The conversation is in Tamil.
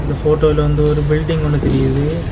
ஃபோட்டோல வந்து ஒரு பில்டிங் ஒன்னு தெரியுது.